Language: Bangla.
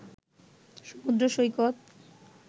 সমুদ্র সৈকত